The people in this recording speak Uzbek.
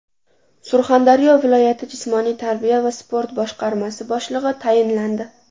Surxondaryo viloyati jismoniy tarbiya va sport boshqarmasi boshlig‘i tayinlandi.